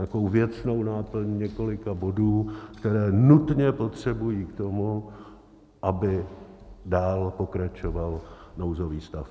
Nějakou věcnou náplň několika bodů, které nutně potřebují k tomu, aby dál pokračoval nouzový stav.